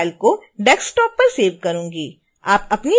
और इस फाइल को desktop पर सेव करूँगी